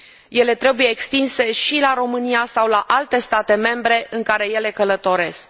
Ele trebuie extinse și la România sau la alte state membre în care ele călătoresc.